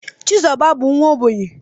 Chizoba bu nwa ogbenye